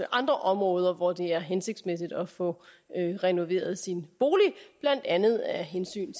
andre områder hvor det er hensigtsmæssigt at få renoveret sin bolig blandt andet af hensyn